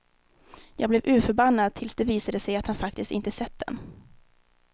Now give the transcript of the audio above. Jag blev urförbannad tills det visade sig att han faktiskt inte sett den.